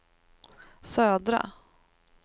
södra